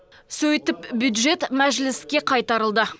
сөйтіп бюджет мәжіліске қайтарылды